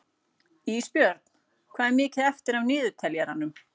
Ísbjörn, hvað er mikið eftir af niðurteljaranum?